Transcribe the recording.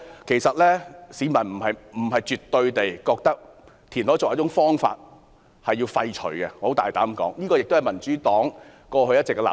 其實，我大膽說，市民不是絕對地認為填海作為一種方法應予廢除，這也是民主黨過去一直的立場。